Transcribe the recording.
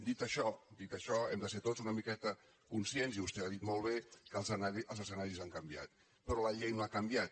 dit això dit això hem de ser tots una miqueta conscients i vostè ho ha dit molt bé que els escenaris han canviat però la llei no ha canviat